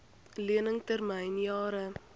lening termyn jare